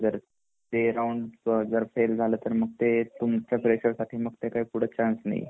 जर ते राऊंड जर फेल झाला तर मग त्याचसाठी फ्रेशरसाठी पुढे काही चान्स नाहीये